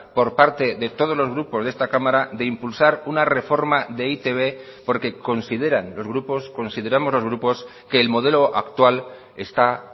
por parte de todos los grupos de esta cámara de impulsar una reforma de e i te be porque consideran los grupos consideramos los grupos que el modelo actual está